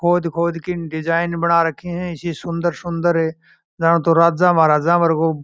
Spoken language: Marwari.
खोद खोद कर डिज़ाइन बनाई है सुन्दर सुन्दर यह राजा महाराजा बरगो --